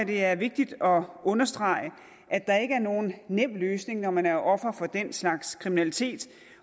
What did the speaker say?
det er vigtigt at understrege at der ikke er nogen nem løsning når man er offer for den slags kriminalitet